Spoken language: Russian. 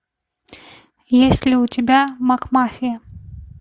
есть ли у тебя макмафия